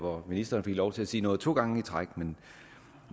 hvor ministeren fik lov til at sige noget to gange i træk men